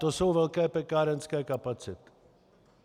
To jsou velké pekárenské kapacity.